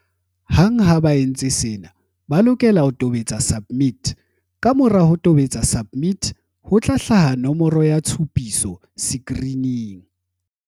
Hang ha ba entse sena, ba lokela ho tobetsa SUBMIT. Kamora ho tobetsa SUBMIT, ho tla hlaha nomoro ya tshupiso sekirining.